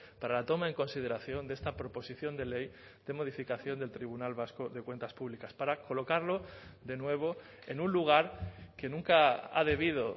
para la toma en consideración de esta proposición de ley de modificación del tribunal vasco de cuentas públicas para colocarlo de nuevo en un lugar que nunca ha debido